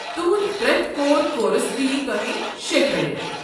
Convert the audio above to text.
تُہُنٛد پرٛٮ۪تھ کور کورس دیہ تۄہہ شےٚ کریڈٹ۔